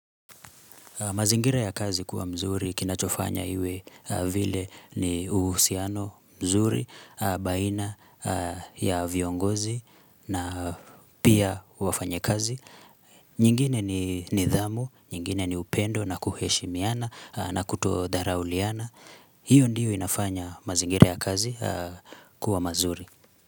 Mazingira ya kazi kuwa mzuri kinachofanya iwe vile ni uhusiano mzuri baina ya viongozi na pia wafanyakazi. Nyingine ni nidhamu, nyingine ni upendo na kuheshimiana na kutodharauliana. Hiyo ndiyo inafanya mazingira ya kazi kuwa mazuri.